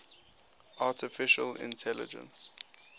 artificial intelligence